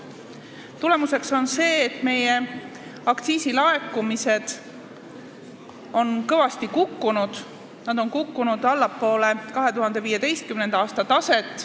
Tagajärg on see, et meie aktsiisilaekumised on kõvasti kukkunud: nad on kukkunud allapoole 2015. aasta taset.